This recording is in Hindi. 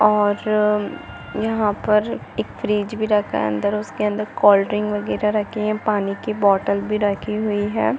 और यहाँ पर एक फ्रिज भी रखा अंदर उसके अंदर कोल्ड्रिंक वगेरा रखे पानी की बॉटल रखी हुई है।